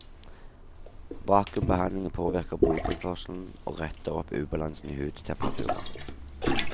Vakumbehandlingen påvirker blodtilførselen, og retter opp ubalansen i hudtemperaturen.